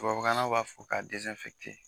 Tubabukalannaw b'a fɔ ka